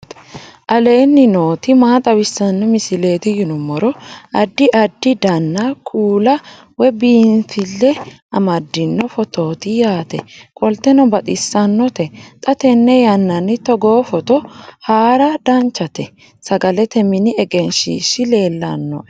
aleenni nooti maa xawisanno misileeti yinummoro addi addi dananna kuula woy biinsille amaddino footooti yaate qoltenno baxissannote xa tenne yannanni togoo footo haara danchate sagalete mini egenshshiishi leellannoe